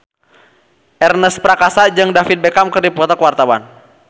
Ernest Prakasa jeung David Beckham keur dipoto ku wartawan